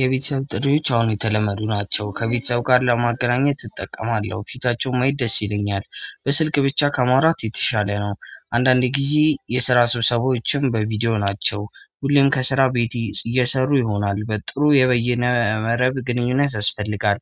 የቤተሰብ ጥሪዎች አሁን የተለመዱ ናቸው ከቤተሰብ ጋር ለማገናኘት እጠቀማለሁ ፊታቸውን ማየት ደስ ይለኛል። በስልክ ብቻ ከማውራት የተሻለ ነው። አንዳንድ ጊዜ የስራ ስብሰባዎችም በቪዲዮ ናቸው። ሁሌም ከስራ ቤት እየሰሩ ይሆናል። በጥሩ የበየነ መረብ ግንኙነት ያስፈልጋል።